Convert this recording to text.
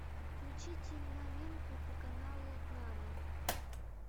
включите новинку по каналу нано